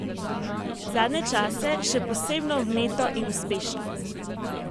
Zadnje čase še posebno vneto in uspešno!